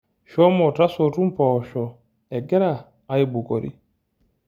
Shomo tasotu mboosho egira aibukori.